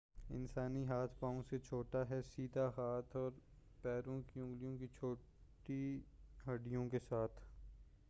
انسانی ہاتھ پاؤں سے چھوٹا ہے سیدھے ہاتھوں اور پَیروں کی اُنگلیوں کی چھوٹی ہَڈّیوں کے ساتھ